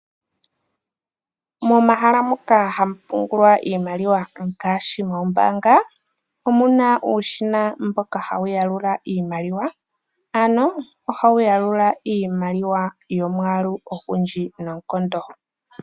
Momahala moka hamu pungulwa iimaliwa ngaashi ombanga omuna uushina mboka hawu yalula iimaliwa. Ano ohawu yalula iimaliwa yomwaalu ogundji noonkondo.